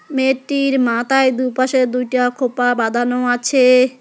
মেয়েটির মাথায় দুপাশে দুইটা খোঁপা বাঁধানো আছে।